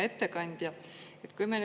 Hea ettekandja!